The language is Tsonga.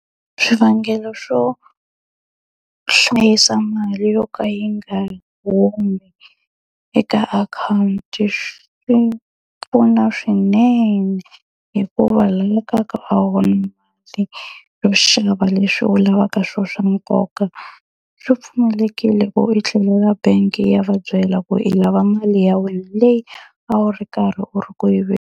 Swivangelo swo hlayisa mali yo ka yi nga humi eka akhawunti swi pfuna swinene, hikuva xava leswi u lavaka swona swa nkoka. Swi pfumelelekile ku i tlhelela bank-i ya va byela ku i lava mali ya wena leyi a wu ri karhi u ri ku yi .